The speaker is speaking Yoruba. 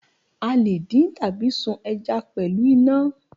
A lè dín tàbí sun ẹja pẹ̀lú iná.